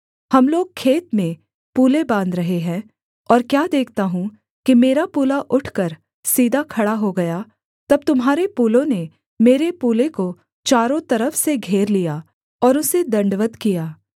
हम लोग खेत में पूले बाँध रहे हैं और क्या देखता हूँ कि मेरा पूला उठकर सीधा खड़ा हो गया तब तुम्हारे पूलों ने मेरे पूले को चारों तरफ से घेर लिया और उसे दण्डवत् किया